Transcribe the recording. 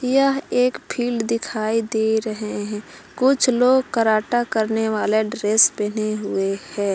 यह एक फील्ड दिखाई दे रहे हैं कुछ लोग कराटा करने वाला ड्रेस पहने हुए हैं।